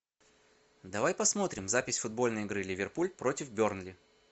давай посмотрим запись футбольной игры ливерпуль против бернли